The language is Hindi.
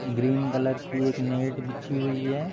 ग्रीन कलर की एक नेट बिछी हुई है।